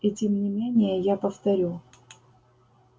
и тем не менее я повторю